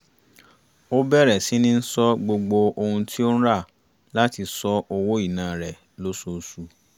ó bẹ̀rẹ̀ síní ṣọ gbogbo ohun tí ó ń rà láti ṣọ́ owó ìná rẹ lóṣooṣù